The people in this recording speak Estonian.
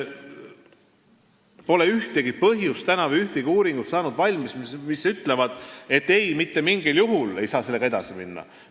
Pole ühtegi põhjust või pole valmis saanud ühtegi uuringut, mis ütleks, et ei, mitte mingil juhul ei saa sellega edasi minna.